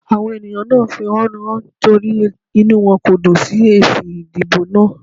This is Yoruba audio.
Àwọn ènìyàn náà ń fẹ̀họ́núhàn nítorí inú wọn kò dùn sí èsì ìdìbò náà.